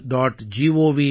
Gov